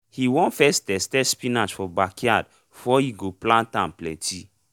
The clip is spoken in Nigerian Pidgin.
he won first test test spinach for backyard for e go plant am plenty